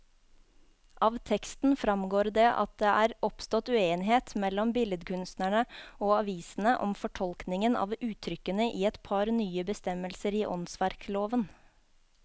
Av teksten fremgår det at det er oppstått uenighet mellom billedkunstnerne og avisene om fortolkningen av uttrykkene i et par nye bestemmelser i åndsverkloven.